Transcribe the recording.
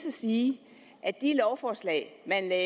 og sige at